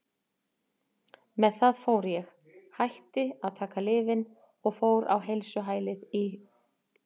Með það fór ég, hætti að taka lyfin og fór á heilsuhælið í